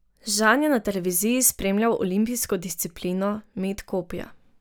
Žan je na televiziji spremljal olimpijsko disciplino, met kopja.